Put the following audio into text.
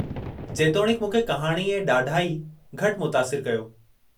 जेतोणीकि, मूंखे कहाणी ऐं ॾाढाई घटि मुतासिरु कयो ।